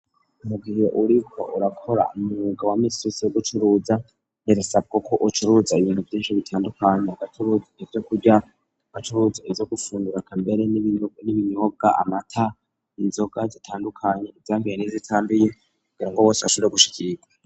Mugihe uriko urakora umwuga wa minsi yose wogucuruza birasabwa ko ucuruza ibintu vyinshi bitandukanye acuruz ivyo kurya ugacuruza izo gufundura kambere n'ibinyobwa amata inzoga zitandukanye ivyambiye nizitambiye kugira ngo bose ashure gushikirwa.